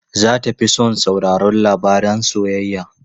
Za ta fi son sauraron labaran soyayya.